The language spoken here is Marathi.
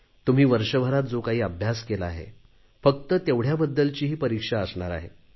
तुम्ही वर्षभरात जो काही अभ्यास केला आहे फक्त तेवढ्याबद्दलची ही परीक्षा असणार आहे